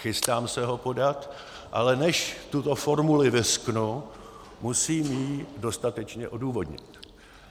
Chystám se ho podat, ale než tuto formuli vyřknu, musím ji dostatečně odůvodnit.